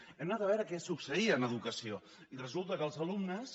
hem anat a veure què succeïa en educació i resulta que els alumnes